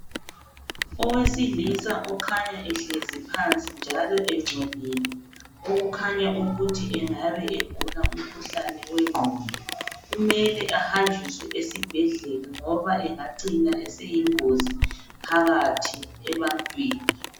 Owesilisa okhanya ehlezi phansi njalo engcolile okukhanya ukuthi angabe egula umkhuhlane owengqondo. Kumele ahanjiswe esibhedlela ngoba engacina eseyingozi phakathi ebantwini.